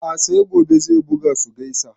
A'a sai gobe zai buga su gaisa